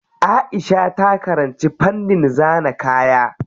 Aisha ta karanci fannin zana kaya.